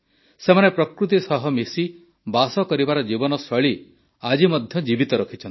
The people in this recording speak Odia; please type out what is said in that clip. ସେମାନେ ପ୍ରକୃତି ସହ ମିଶି ବାସ କରିବାର ଜୀବନଶୈଳୀ ଆଜି ମଧ୍ୟ ଜୀବିତ ରଖିଛନ୍ତି